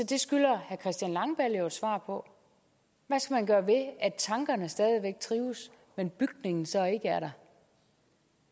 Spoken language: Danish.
det skylder herre christian langballe jo et svar på hvad skal man gøre ved at tankerne stadig væk trives men bygningen så ikke er der